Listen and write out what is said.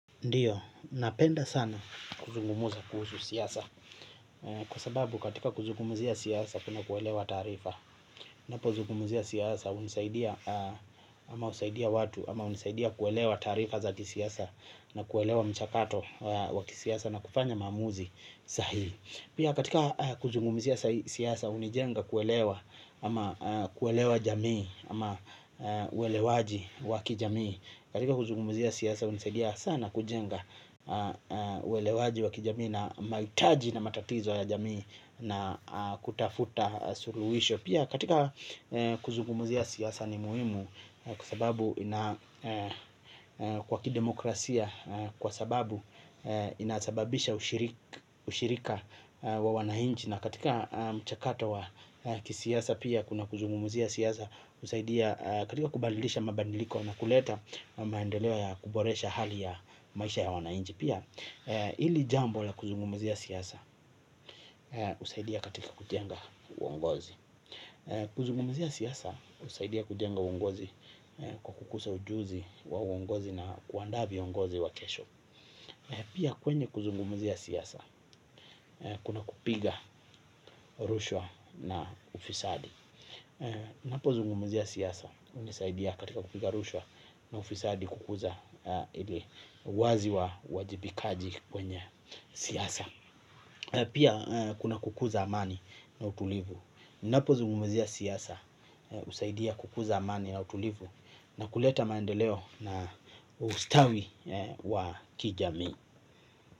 Ndiyo, napenda sana kuzungumza kuhusu siasa. Kwa sababu katika kuzungumzia siasa kuna kuelewa taarifa ninapozungumzia siasa hunisaidia ama husaidia watu ama hunisaidia kuelewa taarifa za kisiasa na kuelewa mchakato wa kisiasa na kufanya maamuzi sahihi pia katika kuzungumzia siasa hunijenga kuelewa. Ama kuelewa jamii ama uelewaji wa kijamii katika kuzungumzia siasa hunisaidia sana kujenga uelewaji wa kijamii na mahitaji na matatizo ya jamii na kutafuta suluhisho pia katika kuzungumzia siasa ni muhimu kwa sababu ina kwa kidemokrasia kwa sababu inasababisha ushirika wa wananchi na katika mchakato wa kisiasa pia kuna kuzungumzia siasa husaidia katika kubalilisha mabadiliko na kuleta maendeleo ya kuboresha hali ya maisha ya wananchi pia hili jambo la kuzungumzia siasa husaidia katika kujenga uongozi kuzungumzia siasa husaidia kujenga uongozi kwa kukusa ujuzi wa uongozi na kuandaa viongozi wa kesho. Pia kwenye kuzungumzia siasa kuna kupiga rushwa na ufisadi ninapozungumzia siasa hunisaidia katika kupiga rushwa na ufisadi kukuja ili uwazi wa uwajibikaji kwenye siasa. Pia kuna kukuza amani na utulivu. Ninapozungumzia siasa husaidia kukuza amani na utulivu na kuleta maendeleo na ustawi wa kijamii.